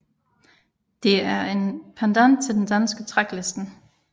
Det er en pendant til den danske Tracklisten